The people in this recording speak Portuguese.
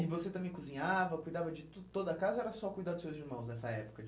E você também cozinhava, cuidava de tudo toda a casa ou era só cuidar dos seus irmãos nessa época?